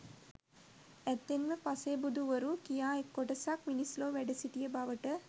ඇත්තෙන්ම පසේබුදුවරු කියා කොටසක් මිනිස් ලොව වැඩසිටිය බවට